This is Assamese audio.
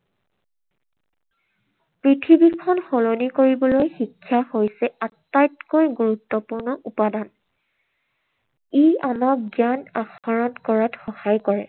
পৃথিৱীখন সলনি কৰিবলৈ শিক্ষা হৈছে আটাইতকৈ গুৰুত্বপূৰ্ণ উপাদান। ই আমাক জ্ঞান আহৰণ কৰাত সহায় কৰে।